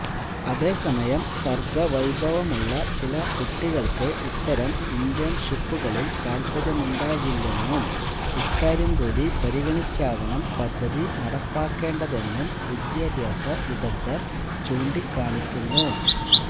അതേസമയം സര്ഗ്ഗവൈഭവമുള്ള ചില കുട്ടികള്ക്ക് ഇത്തരം ഇന്റേണ്ഷിപ്പുകളില് താത്പര്യമുണ്ടാകില്ലെന്നും ഇക്കാര്യം കൂടി പരിഗണിച്ചാകണം പദ്ധതി നടപ്പാക്കേണ്ടതെന്നും വിദ്യാഭ്യാസ വിദഗ്ധര് ചൂണ്ടിക്കാണിക്കുന്നു